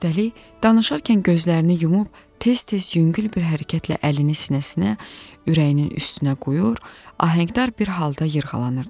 Üstəlik, danışarkən gözlərini yumub, tez-tez yüngül bir hərəkətlə əlini sinəsinə, ürəyinin üstünə qoyur, ahəngdar bir halda yırğalanırdı.